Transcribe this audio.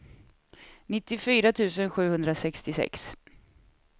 nittiofyra tusen sjuhundrasextiosex